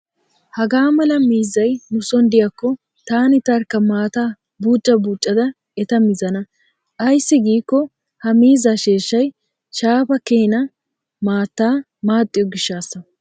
Hagaa mala miizzay nuson diyaakko taani tarkka maataa buuca buucada eta mizana. Ayssi giikko ha miizzaa sheeshshay shaafaa keena maattaa maaxxiyo gishshaassa.